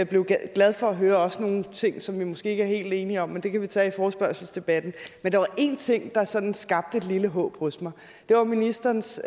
blev glad for at høre også nogle ting som vi måske ikke er helt enige om men det kan vi tage i forespørgselsdebatten men der var én ting der sådan skabte et lille håb hos mig det var ministerens